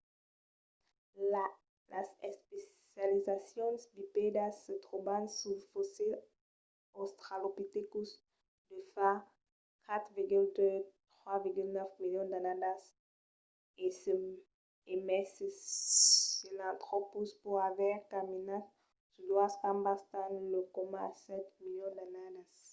las especializacions bipèdas se tròban suls fossils australopithecus de fa 4,2-3,9 milions d’annadas e mai se sahelanthropus pòt aver caminat sus doas cambas tan lèu coma fa sèt milions d'annadas